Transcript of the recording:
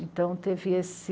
Então, teve esse...